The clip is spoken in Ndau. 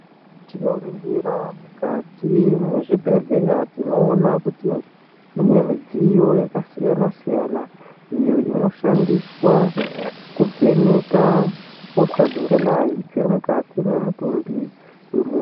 Tinoringira mukati mwezvibhedhleya tinoona kuti mune mudziyo yakasiyana siyana iyo inoshandiswa kuvheneka hosha dzingadayi dziri mukati mwemutumbi wemuntu.